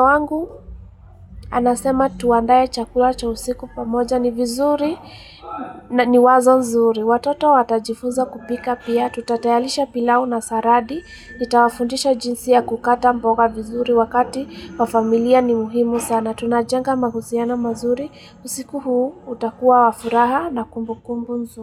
wangu anasema tuandae chakula cha usiku pamoja ni vizuri na ni wazo nzuri. Watoto watajifunza kupika pia, tutatayarisha pilau na saradi, nitawafundisha jinsi ya kukata mboga vizuri wakati wafamilia ni muhimu sana. Tunajenga mahusiano mazuri, usiku huu utakuwa wa furaha na kumbukumbu nzuri.